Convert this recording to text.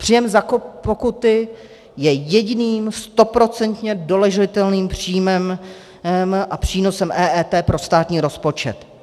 Příjem za pokuty je jediným stoprocentně doložitelným příjmem a přínosem EET pro státní rozpočet.